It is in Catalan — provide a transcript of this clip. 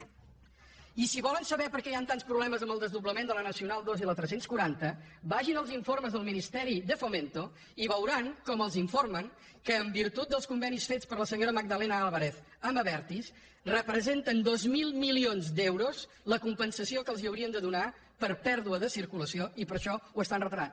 i si volen saber per què hi han tants problemes amb el desdoblament de la nacio nal ii i la tres cents i quaranta vagin als informes del ministeri de fomento i veuran com els informen en virtut dels convenis fets per la senyora magdalena álvarez amb abertis que representa dos mil milions d’euros la compensació que els haurien de donar per pèrdua de circulació i per això ho estan retardant